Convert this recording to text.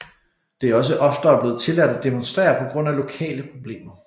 Det er også oftere blevet tilladt at demonstrere på grund af lokale problemer